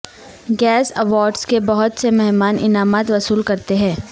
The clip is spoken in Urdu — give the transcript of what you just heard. گیس ایوارڈز کے بہت سے مہمان انعامات وصول کرتے ہیں